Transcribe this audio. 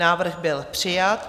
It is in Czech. Návrh byl přijat.